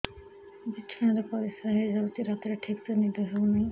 ବିଛଣା ରେ ପରିଶ୍ରା ହେଇ ଯାଉଛି ରାତିରେ ଠିକ ସେ ନିଦ ହେଉନାହିଁ